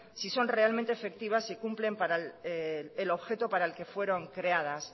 si son realmente efectivas si cumplen para el objeto para el que fueron creadas